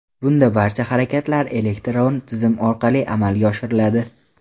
Bunda barcha harakatlar elektron tizim orqali amalga oshiriladi.